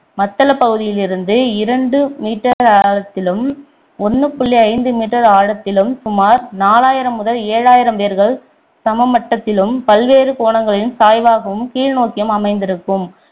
மத்தளப்பகுதியிலிருந்து இரண்டு meter ஆழத்திலும் ஒன்று புள்ளி ஐந்து meter ஆழத்திலும் சுமார் நாலாயிரம் முதல் ஏழாயிரம் வேர்கள் சமமட்டத்திலும் பல்வேறு கோணங்களிலும் சாய்வாகவும் கீழ் நோக்கியும் அமைந்திருக்கும்